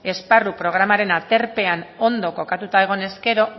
esparru programaren aterpean ondo kokatuta egonez gero